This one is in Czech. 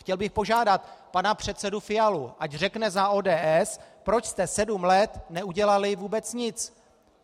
Chtěl bych požádat pana předsedu Fialu, ať řekne za ODS, proč jste sedm let neudělali vůbec nic.